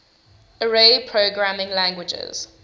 array programming languages